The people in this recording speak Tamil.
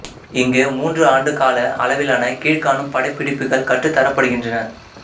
இங்கு மூன்று ஆண்டு கால அளவிலான கீழ்க்காணும் பட்டயப்படிப்புகள் கற்றுத் தரப்படுகின்றன